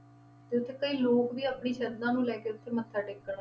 ਤੇ ਉੱਥੇ ਕਈ ਲੋਕ ਵੀ ਆਪਣੀ ਸਰਧਾ ਨੂੰ ਲੈ ਕੇ ਉੱਥੇ ਮੱਥਾ ਟੇਕਣ